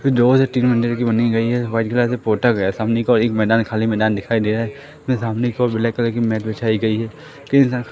दो से तीन मंजिल की बनी गई है व्हाईट कलर से पोटा गया है सामने की ओर एक मैदान खाली मैदान दिखाई दे रहा है उसमें सामने की ओर ब्लैक कलर की मैट बिछाई गई है